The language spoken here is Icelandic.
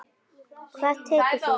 Hvað tekur þú?